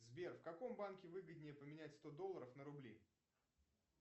сбер в каком банке выгоднее поменять сто долларов на рубли